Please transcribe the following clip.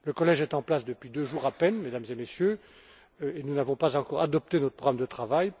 Le collège est en place depuis deux jours à peine, Mesdames et Messieurs, et nous n'avons pas encore adopté notre programme de travail.